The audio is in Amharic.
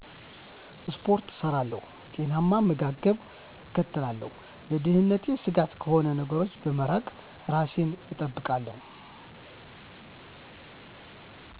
ስፖርት እሰራለሁ፣ ጤናማ አመጋገብን እከተላለሁ፣ ለደህንነቴ ስጋት ከሆኑ ነገሮች በመራቅ እራሴን እጠብቃለሁ።